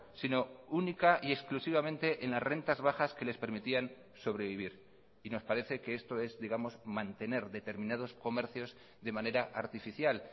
sino única y exclusivamente en las rentas bajas que les permitían sobrevivir y nos parece que esto es digamos mantener determinados comercios de manera artificial